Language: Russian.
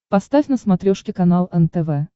поставь на смотрешке канал нтв